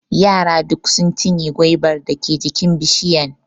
Yara duk sun cinye gwaibar dake jikin bishiyan.